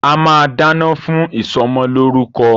A máa dáná fún ìsọmọlórúkọ.